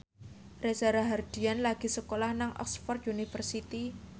Reza Rahardian lagi sekolah nang Oxford university